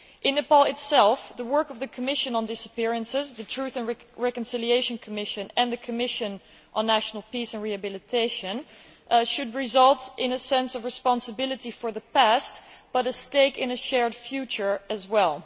In Nepal itself the work of the Commission on Disappearances, the Truth and Reconciliation Commission and the Commission on National Peace and Rehabilitation should result not only in a sense of responsibility for the past but a stake in a shared future as well.